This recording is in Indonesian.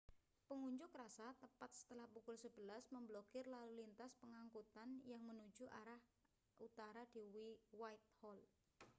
pengunjuk rasa tepat setelah pukul 11.00 memblokir lalu lintas pengangkutan yang menuju arah utara di whitehall